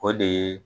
O de ye